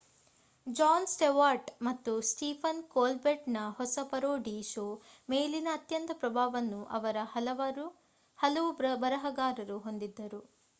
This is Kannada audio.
ಜಾನ್ ಸ್ಟೆವಾರ್ಟ್‌ ಮತ್ತು ಸ್ಟೀಫನ್ ಕೋಲ್ಬೆರ್ಟ್‌ರ ಹೊಸ ಪರೋಡಿ ಶೋ ಮೇಲಿನ ಅತ್ಯಂತ ಪ್ರಭಾವವನ್ನು ಅವರ ಹಲವು ಬರಹಗಾರರು ಹೊಂದಿದ್ದರು